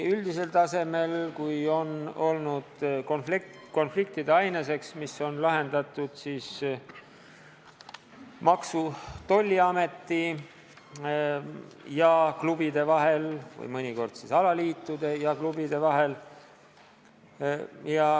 Segadused sellega on põhjustanud ka konflikte, mida on omavahel lahendatud Maksu- ja Tolliamet ning klubid ning mõnikord alaliidud ja klubid.